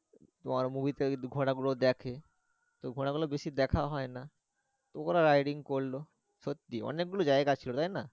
তোমার movie তে ঘোড়াগুলো দেখে তো ঘোড়াগুলো বেশি দেখা হয় না। তো ওরা riding করলো সত্যি অনেক গুলো জায়গা ছিলো তাইনা?